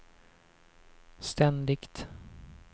ständigt